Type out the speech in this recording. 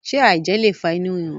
ṣe aijẹ le fa inu rirun?